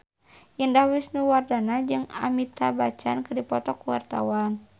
Indah Wisnuwardana jeung Amitabh Bachchan keur dipoto ku wartawan